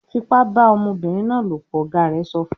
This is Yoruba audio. "Fipá bá ọmọbìnrin náà lopọ̀!", Ọ̀gá rẹ̀ sọ fún